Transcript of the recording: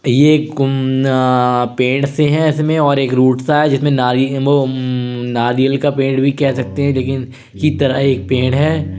ये एक पेड़ से हैं इसमे और एक रूट सा है जिसमे नारी उम्म आ नारियल का पेड़ भी कह सकते हैं लेकिन तरह एक पेड़ हैं।